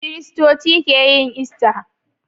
Kristoci keyin "Easter "